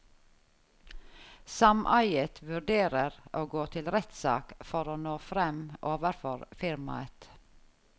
Sameiet vurderer å gå til rettssak for å nå frem overfor firmaet.